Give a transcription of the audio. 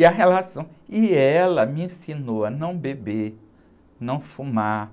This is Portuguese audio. E a relação, e ela me ensinou a não beber, não fumar,